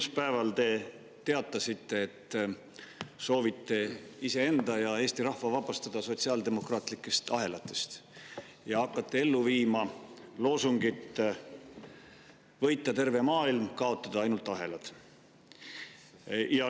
Esmaspäeval te teatasite, et soovite iseenda ja Eesti rahva vabastada sotsiaaldemokraatlikest ahelatest ja hakata ellu viima loosungit "Võita terve maailm, kaotada ainult ahelad".